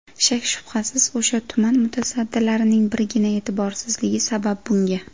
Shak-shubhasiz o‘sha tuman mutasaddilarining birgina e’tiborsizligi sabab bunga...